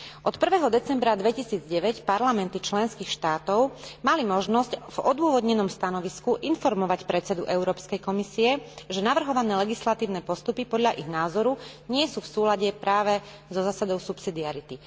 Od 1. decembra 2009 parlamenty členských štátov mali možnosť v odôvodnenom stanovisku informovať predsedu Európskej komisie, že navrhované legislatívne postupy podľa ich názoru nie sú v súlade práve so zásadou subsidiarity.